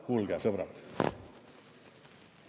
Kuulge, sõbrad!